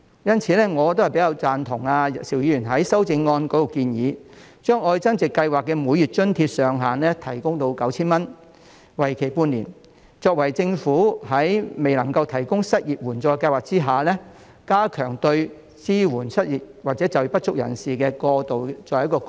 因此，我比較贊同邵議員在修正案中的建議，將"特別.愛增值"計劃的每月津貼上限提高至 9,000 元，為期半年，作為政府在未能夠提供失業援助計劃下，加強支援失業或就業不足人士的過渡措施。